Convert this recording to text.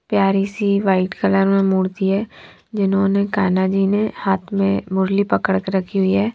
प्यार सी white colour में मूर्ति है जिन्होंने कान्हा जी ने हाथ में मुरली पकड़ के रखी हुई है।